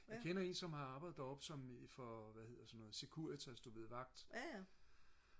jeg kender en som har arbejdet der oppe som for hvad hedder sådan noget Securitas du ved sådan noget vagt